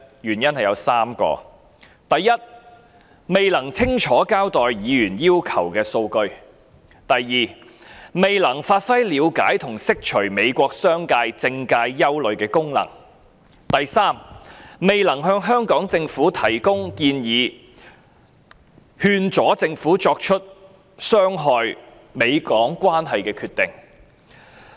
原因有3個：第一，它未能清楚交代議員要求的數據；第二，未能發揮了解和釋除美國商界和政界憂慮的功能；及第三，未能向香港政府提供建議，勸阻政府作出傷害美港關係的決定。